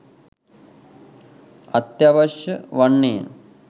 අත්‍යවශ්‍ය වන්නේය